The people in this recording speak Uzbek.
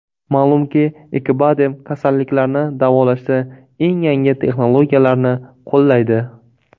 Ma’lumki, Acibadem kasalliklarni davolashda eng yangi texnologiyalarni qo‘llaydi.